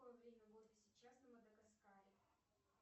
время года сейчас на мадагаскаре